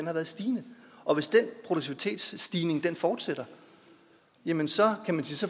har været stigende og hvis den produktivitetsstigning fortsætter jamen så